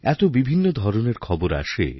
এত বিভিন্ন ধরনের খবরআসে